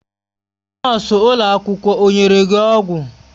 Nọọsụ ụlọ akwụkwọ o nyere gị ọgwụ?